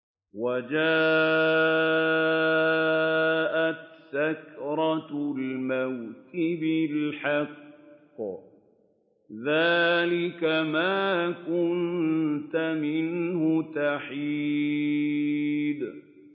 وَجَاءَتْ سَكْرَةُ الْمَوْتِ بِالْحَقِّ ۖ ذَٰلِكَ مَا كُنتَ مِنْهُ تَحِيدُ